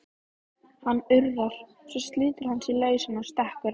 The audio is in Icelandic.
Hann urrar, svo slítur hann sig lausan og stekkur á